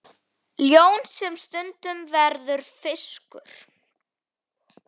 Ljón sem stundum verður fiskur.